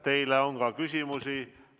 Teile on ka küsimusi.